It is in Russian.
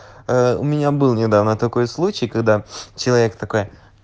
у меня был недавно такой случай когда человек такой